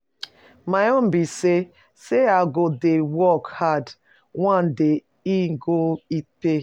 My own be say say I go dey work hard, one day e go pay.